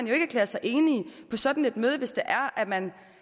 jo ikke erklære sig enig på sådan et møde hvis det er man